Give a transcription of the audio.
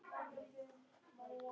Hún svarar mér heldur ekki.